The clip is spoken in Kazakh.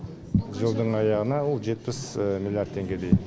жылдың аяғына ол жетпіс миллиард теңгедей